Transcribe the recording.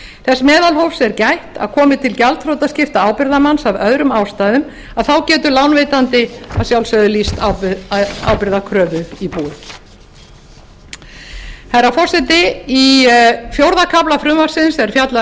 þess meðalhófs er gætt að komi til gjaldþrotaskipta ábyrgðarmanns af öðrum ástæðum þá getur lánveitandi að sjálfsögðu lýst ábyrgðarkröfu í búið herra forseti í fjórða kafla frumvarpsins er fjallað